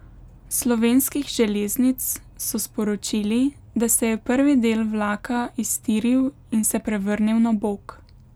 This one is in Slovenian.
S Slovenskih železnic so sporočili, da se je prvi del vlaka iztiril in se prevrnil na bok.